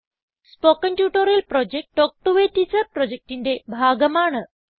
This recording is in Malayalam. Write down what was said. spoken tutorial project talk to a teacher പ്രൊജക്റ്റിന്റെ ഭാഗമാണ്